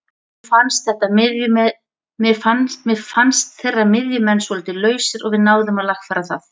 Mér fannst þeirra miðjumenn svolítið lausir og við náðum að lagfæra það.